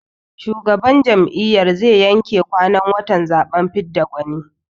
Shugaban jam'iyyar zai yanke kwanan watan zaɓen fidda gwani.